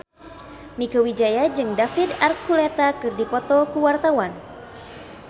Mieke Wijaya jeung David Archuletta keur dipoto ku wartawan